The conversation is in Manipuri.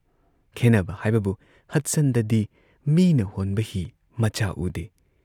ꯈꯦꯟꯅꯕ ꯍꯥꯏꯕꯕꯨ ꯍꯗꯁꯟꯗꯗꯤ ꯃꯤꯅ ꯍꯣꯟꯕ ꯍꯤ ꯃꯆꯥ ꯎꯗꯦ ꯫